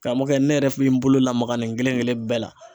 Karamɔgɔkɛ ne yɛrɛ bɛ n bolo lamaga nin kelen kelen bɛɛ la